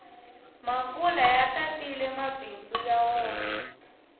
makula ya tatile mabindzu ya wona